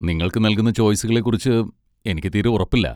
നിങ്ങൾക്ക് നൽകുന്ന ചോയ്സുകളെക്കുറിച്ച് എനിക്ക് തീരെ ഉറപ്പില്ല.